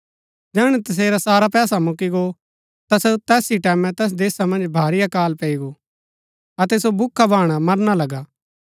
जैहणै तसेरा सारा पैसा मुक्‍की गो ता ता तैस ही टैमैं तैस देशा मन्ज भारी अकाल पैई गो अतै सो भूखा भाणा मरना लगा